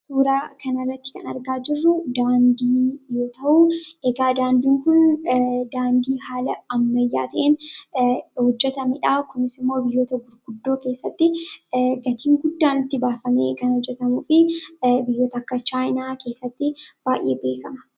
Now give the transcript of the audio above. Suuraa kana irratti kan argaa jirru daandii yoo ta'u, daandii kun haala daandii ammayyaa ta'een hojjetamedha. Daandiin kunis immoo biyyoota gurguddoo keessatti gatii guddaan itti baafamee kan hojjetamuu fi biyyoota akka Chaayinaa keessatti baay'ee beekama.